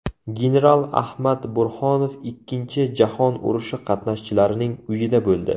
General Ahmad Burhonov Ikkinchi Jahon urushi qatnashchilarining uyida bo‘ldi.